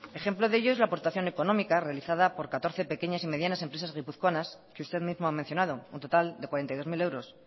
ejemplo de ello es la aportación económica realizada por catorce medianas y pequeñas empresas guipuzcoanas que usted mismo ha mencionado un total de cuarenta y dos mil euros